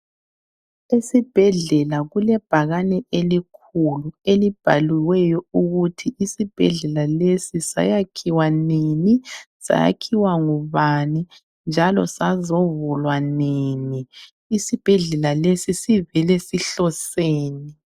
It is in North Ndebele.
Esibhedlela kulebhakane elikhulu elibhaliweyo ukuthi isibhedlela lesi sayakhiwa nini, sayakhiwa ngubani njalo sazovulwa nini. Isibhedlela lesi sivele sihloseni.